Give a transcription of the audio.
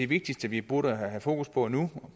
vigtigste vi burde have fokus på nu